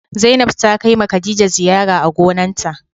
Zainab ta Kai ma Khadija ziyara a gonan ta.